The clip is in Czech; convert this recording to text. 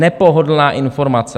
Nepohodlná informace.